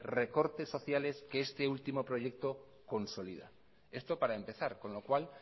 recorte sociales que este último proyecto consolida esto para empezar con lo cual